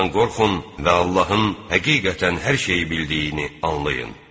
Allahdan qorxun və Allahın həqiqətən hər şeyi bildiyini anlayın.